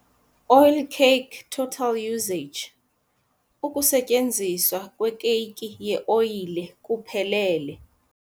Oilcake total usage- ukusetyenziswa kwekeyiki yeoyile kuphelele